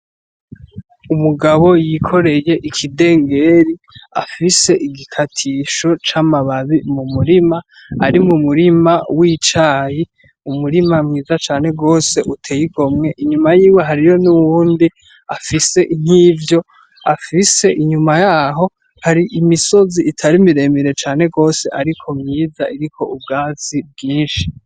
Umugabo yikoreye ikidengeri, afise igikatisho c'amababi mu murima, ari mu murima w'icayi, umurima mwiza cane gose uteye igomwe, inyuma yiwe hariyo n'uwundi afise nkivyo afise, inyuma yaho hari imisozi itari miremire cane gose ariko myiza iriko ubwatsi bwinshi.